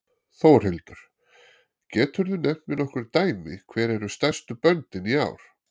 Þórhildur: Geturðu nefnt mér nokkur dæmi hver eru stærstu böndin í ár?